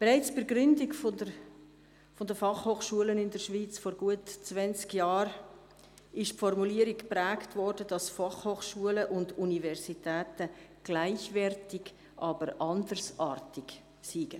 Bereits bei der Gründung der Fachhochschulen in der Schweiz vor gut zwanzig Jahren wurde die Formulierung geprägt, dass Fachhochschulen und Universitäten gleichwertig, aber andersartig seien.